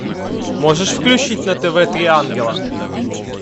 можешь включить на тв три ангела